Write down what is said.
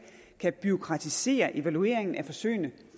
bureaukratisere evalueringen af forsøgene